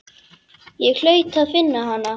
Ég hlaut að finna hana.